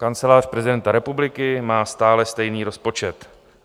Kancelář prezidenta republiky má stále stejný rozpočet.